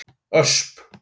Ösp